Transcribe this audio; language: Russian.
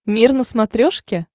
мир на смотрешке